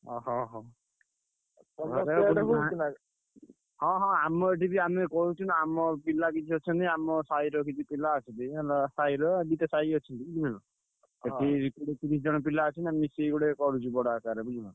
ଅହୋ ହୋ ହଁ ହଁ ଆମ ଏଠି ବି ଆମେ କରୁଚୁ ନା ଆମ ପିଲା କିଛି ଅଛନ୍ତି। ଆମ ସାହିର କିଛି ପିଲା ଅଛନ୍ତି ହେଲା ସାହିର ଦିଟା ସାହି ଅଛନ୍ତି ବୁଝିଲନା। ସେଠି କୋଡିଏ ତିରିଶି ଜଣ ପିଲା ଅଛନ୍ତି। ଆମେ ମିଶିକି କରୁଚୁ ଗୋଟେ ବଡ ଆକାରରେ ବୁଝିଲ।